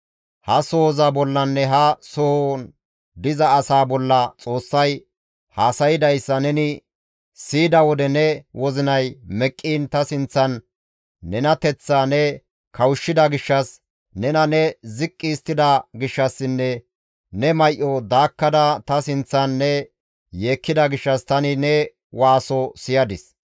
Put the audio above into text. ha sohoza bollanne ha sohon diza asaa bolla Xoossay haasaydayssa neni siyida wode ne wozinay meqqiin ta sinththan nenateththaa ne kawushshida gishshas, nena ne ziqqi histtida gishshassinne ne may7o daakkada ta sinththan ne yeekkida gishshas tani ne waaso siyadis.